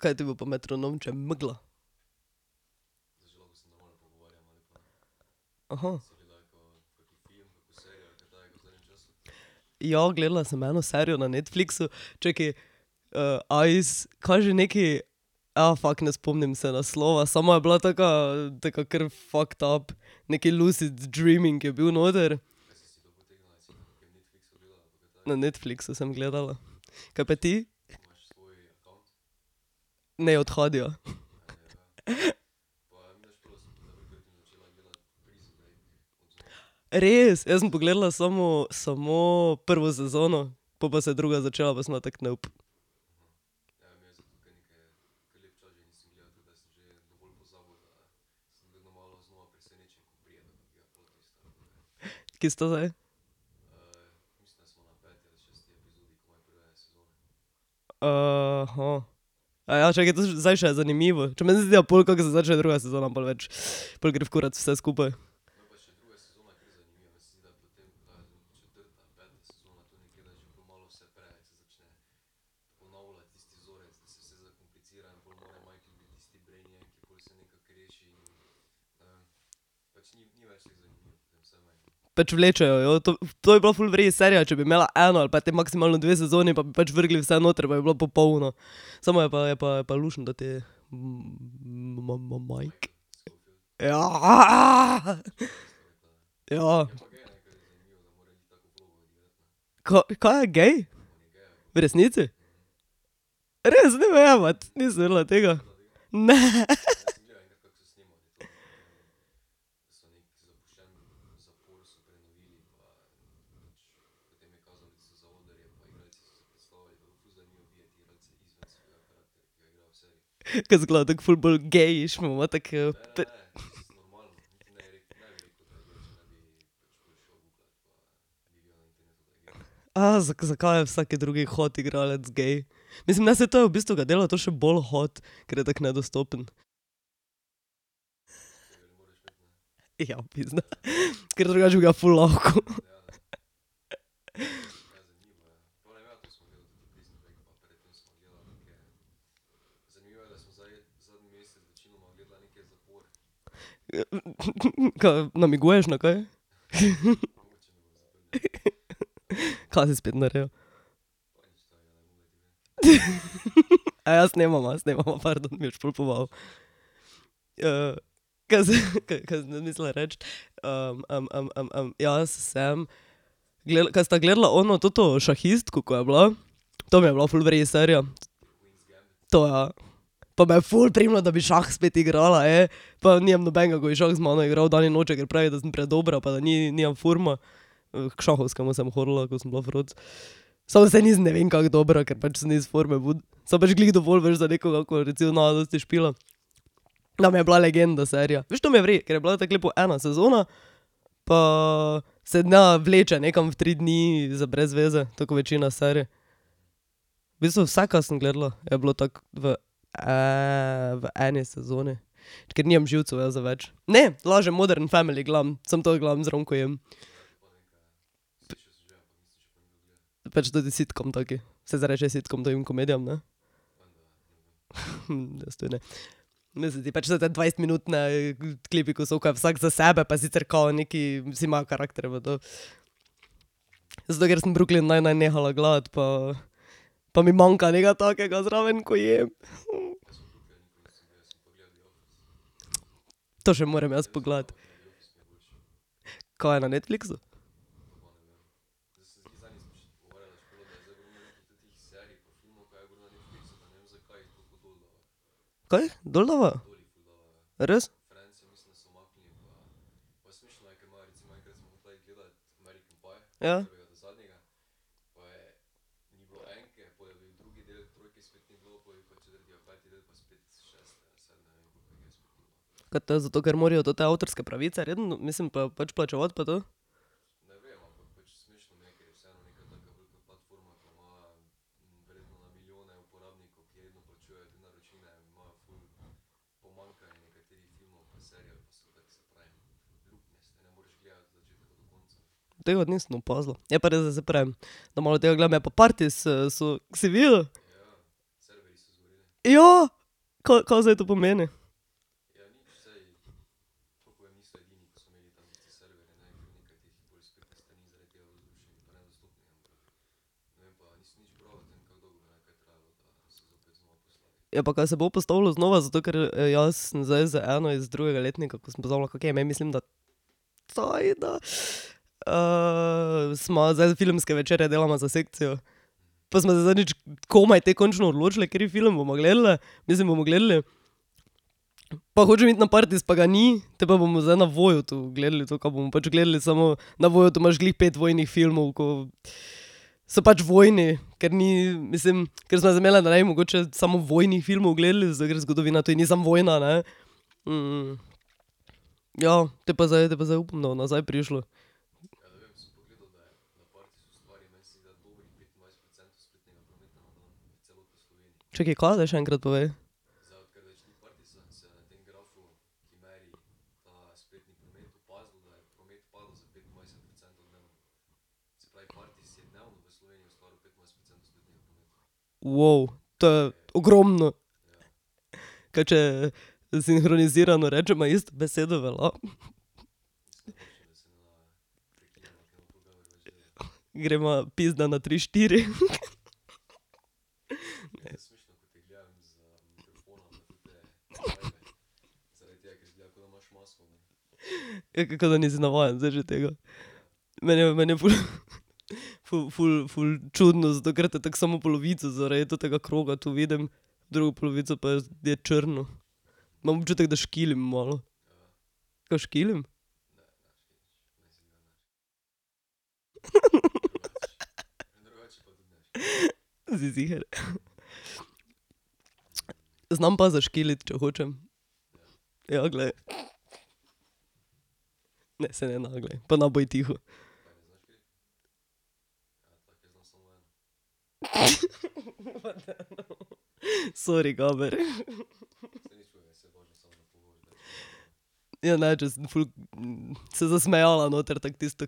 Kaj ti bo pa metronom, če je megla? Ja, gledala sem eno serijo ne Netflixu, čakaj, Eyes, kaj že nekaj, fak ne spomnim se naslova, samo je bila taka tako kar fucked up neki lucid dreaming je bil noter. Na Netflixu sem gledala. Kaj pa ti? Ne, od Hadija. Res? Jaz sem pogledala samo, samo prvo sezono. Pol pa se je druga začela, pa sem bila tako, nope. Ki s to zdaj? čakaj, to zdaj je še zanimivo, čakaj meni se zdi, da pol, kak se začne druga sezona, pol več, pol gre v kurac vse skupaj. Pač vlečejo jo, to, to bi bila ful v redu serija, če bi imela eno ali pa te maksimalno dve sezoni pa bi pač vrgli vse noter, pa bi bilo popolno. Samo je pa, je pa luštno toti, Mike. Ja . Ja. Kaj, kaj je gej? V resnici? Res? Ne me jebat. Nisem vedela tega. Ne . Ker izgleda tako ful bolj gejiš pa ima tako . zakaj je vsaki drugi hot igralec gej? Mislim, ne, saj to je, v bistvu ga dela to še bolj hot, ker je tako nedostopen. Ja, pizda, ker drugače bi ga ful lahko. Kaj namiguješ na kaj? Ka si spet naredil? snemava, snemava, pardon, mi boš pol . kaj si, kaj sem zdaj mislila reči, jaz sem kaj sta gledala ono toto šahistko, ko je bila? Ta mi je bila ful v redu serija. To, ja. To me je ful prijelo, da bi šah spet igrala, pa nimam nobenega, ko bi šah z mano igral dan in noč, da sem predobra, pa da nimam furma. k šahovskemu sem hodila, ko sem bila froc. Samo saj nisem ne vem kako dobra, ker pač sem iz forme ven. Samo pač glih dovolj veš za nekoga, ko recimo ne dosti špila. Nam je bila legenda serija, veš, to mi je v redu, ker je bila tako lepo ena sezona pa se ne vleče nekam v tri dni za brez veze, tako kot večina serij. V bistvu vse, ka sem gledala, je bilo tako v, v eni sezoni, ker nimam živcev jaz za več. Ne, lažem, Modern family gledam, samo to gledam zraven, ko jem. Pač toti sitcom, tak, saj se reče sitcom takim komedijam, ne? Jaz tudi ne. Meni se zdi pač, saj ti dvajsetminutni, klipi, ko so, ko je vsak za sebe pa sicer, kao nekaj, vsi imajo karakterje pa to. Zato, ker sem Brooklyn nine nine nehala gledati, pa pa mi manjka nekaj takega zraven, ko jem. To še moram jaz pogledati. Kaj je na Netflixu? Kaj dol dava? Res? Ja. Ka to je zato, ker morajo te avtorske pravice redno, mislim pač plačevati pa to? Tega pa nisem opazila, je pa res, da saj pravim, da malo tega gledam, je pa Partis, so, si videl? Ja. Kaj, kaj zdaj to pomeni? Ja, pa kaj se bo postavilo znova, zato ker jaz sem zdaj z eno iz drugega letnika, ko sem pozabila, kako ji je ime, mislim, da Tajda? sva zdaj, filmske večere delava za sekcijo. Pa sva se zadnjič komaj te končno odločili, kateri film bova gledale. Mislim, bomo gledali. Pa hočem iti na Partis, pa ga ni, potem pa bomo zdaj na Voyotu gledali, to, ka bomo pač gledali, samo na Voyotu imaš glih pet vojnih filmov, ko so pač vojni, ker ni, mislim, ker sva se zmenili, da ne bi mogoče samo vojnih filmov gledali, zato ker zgodovina tudi ni samo vojna, ne. Ja, potem pa zdaj, potem pa zdaj upam, da bo nazaj prišlo. Čakaj, ka? Daj še enkrat povej. to je ogromno. Kaj če sinhronizirano rečeva isto besedo, velja? Greva, pizda na tri, štiri. Ja, da nisi navajen zdaj že tega. Meni je, meni je ful, ful, ful, ful čudno, zato ker tako samo polovico zaradi tega kroga tu vidim. Drugo polovico pa jaz, je črno. Imam občutek, da škilim malo. Kaj škilim? Si ziher? Znam pa zaškiliti, če hočem. Ja, glej. Ne, saj ne, ne glej, pa ne bodi tiho. Pa daj, no ... Sori, Gabr. Ja, ne, če sem ful se zasmejala noter, tako tisto .